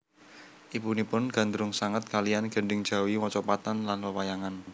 Ibunipun gandrung sanget kalian gending jawi mocopatan lan wewayangan